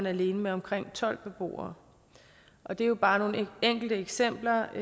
alene med omkring tolv beboere det er jo bare nogle enkelte eksempler